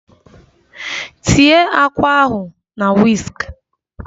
Tie àkwá ahụ na wisk!